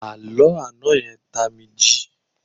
Àló àná yẹn tá mí jí.